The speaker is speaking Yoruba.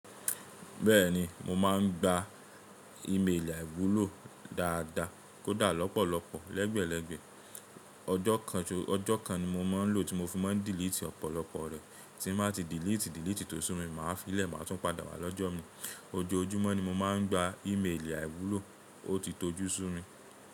Bẹ́ẹ̀ni mo máà ń gba ímeèlì àìwúlò dáadáa, kódà lọ́pọ̀lọpọ̀ lẹ́gbẹ̀lẹgbẹ̀ ọjọ́ kan ni mo máa ń lò tí mo fi máa ń diliti ọ̀pọ̀lọpọ̀ rẹ̀, tí n bá ti dílítì dílítì tó sú mi, màá fi í lẹ̀ máa tún padà wà lọ́jọ́ mii. Ojoojúmọ́ ni mo máa ń gba ímeèlì àìwúlò, o ti tojú sún mi.